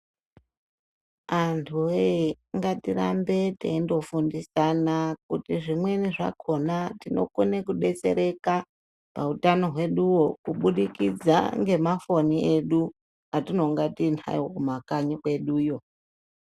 Antuwee ngatirambe teyindofundisana kuti zvimweni zvakona tinokone kudetsereka pautano hweduwo ,kubudikidza ngemafoni edu atinonga tiyinawo kumakanyi kweduyo.